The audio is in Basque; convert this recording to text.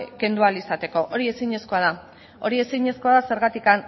kendu ahal izateko hori ezinezkoa da zergatik